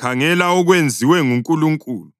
‘Khangela okwenziwe nguNkulunkulu!’